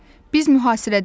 Biz mühasirədəyik.